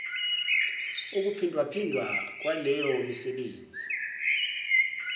ukuphindwaphindwa kwaleyo misebenzi